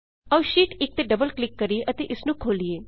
ਆਉ sheet 1 sheet 1 ਤੇ double click ਕਰੀਏ ਅਤੇ ਇਸਨੂੰ ਖੋਲੀਏ